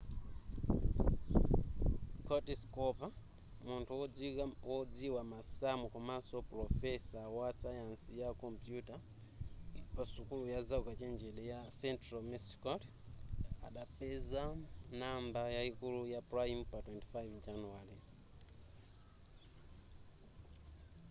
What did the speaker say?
curtis cooper munthu wodziwa masamu komanso pulofesa wasayansi ya kompuyuta pa sukulu ya zaukachenjede ya central missouri adapeza number yayikulu ya prime pa 25 januwale